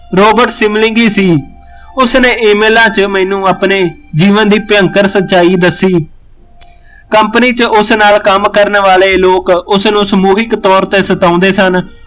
Robert sibling ਈ ਸੀ ਉਸਨੇ email ਲਾ ਕੇ ਮੈਂਨੂੰ ਆਪਣੇ ਜੀਵਨ ਦੀ ਭਿਅੰਕਰ ਸੱਚਾਈ ਦੱਸੀ company ਚ ਉਸ ਨਾਲ਼ ਕੰਮ ਕਰਨ ਵਾਲੇ ਲੋਕ ਉਸਨੂ ਸਮੂਹਿਕ ਤੋਰ ਤੇ ਸਤਾਉਂਦੇ ਸਨ